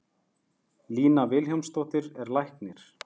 Lína Vilhjálmsdóttir er læknir.